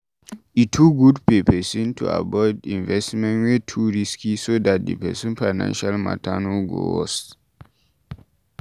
E good for person to avoid investment wey too risky so dat di person financial matter no go worst